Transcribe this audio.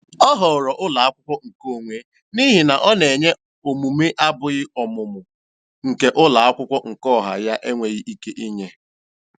Ọ họọrọ ụlọakwụkwọ nke onwe n'ihi na ọ na-enye omume abụghị ọmụmụ nke ụlọakwụkwọ nke ọha ya enweghị ike inye.